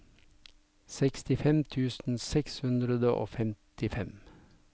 sekstifem tusen seks hundre og femtifem